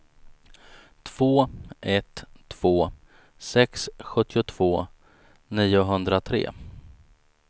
två ett två sex sjuttiotvå niohundratre